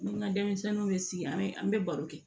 Ni n ka denmisɛnninw bɛ sigi an bɛ an bɛ baro kɛ